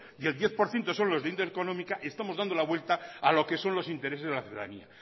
y el diez por ciento son de índole económica estamos dando la vuelta a lo que son los intereses de la ciudadanía